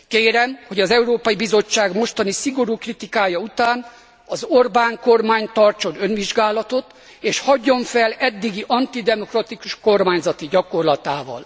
Kérem, hogy az Európai Bizottság mostani szigorú kritikája után az Orbán kormány tartson önvizsgálatot és hagyjon fel eddigi antidemokratikus kormányzati gyakorlatával.